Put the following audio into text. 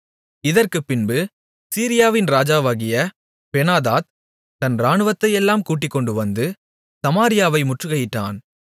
இதற்குப்பின்பு சீரியாவின் ராஜாவாகிய பெனாதாத் தன் இராணுவத்தையெல்லாம் கூட்டிக்கொண்டுவந்து சமாரியாவை முற்றுகையிட்டான்